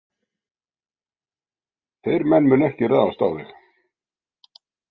Þeir menn munu ekki ráðast á þig.